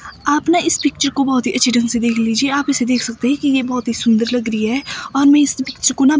आप न इस पिक्चर को बहोत ही अच्छे ढंग से देख लीजिए आप इसे देख सकते हैं ये बहोत ही सुंदर लग रही है और मैं इस पिक्चर को ना--